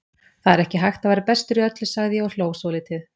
Það er ekki hægt að vera bestur í öllu, sagði ég og hló svolítið.